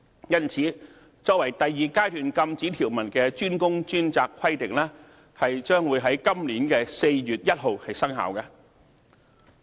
因此，作為第二階段禁止條文的"專工專責"規定，將會在今年4月1日生效。